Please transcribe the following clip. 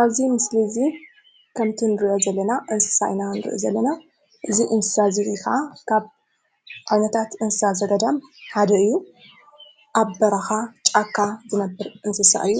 ኣብዚ ምስሊ እዙይ ከምቲ እንርእዮ ዘለና እንስሳ ኢና እንርኢ ዘለና:: እዚ እንስሳ እዙይ ከዓ ካብ ዓይነታት እንስሳ ዘገዳም ሓደ እዩ። ኣብ በረካ ጫካ ዝነበር አንሰሳ እዩ::